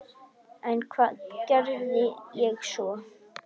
En hvað geri ég svo?